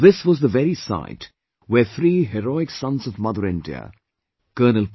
This was the very site where three heroic sons of Mother India Col